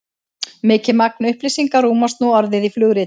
mikið magn upplýsinga rúmast nú orðið í flugritum